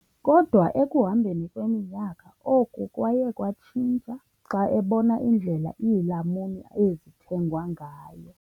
Kodwa ekuhambeni kweminyaka, oku kwaye kwatshintsha xa ebona indlela iilamuni ezithengwa ngayo.